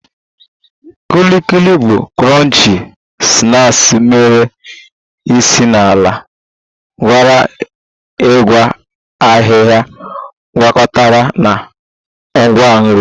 Kuli Kuli bụ crunchy snacks mere si n'ala ghere eghe ahịhịa gwakọtara na ngwa nri